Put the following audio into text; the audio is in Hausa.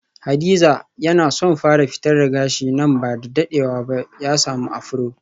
Hadiza yana son fara fitar da gashi nan bada dadewa ba ya samu afro.